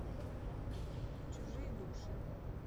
чужие души